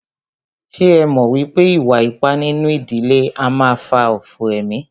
Ṣé ẹ mọ̀ wípé ìwà ipá nínú ìdílé a máà fà òfò emí?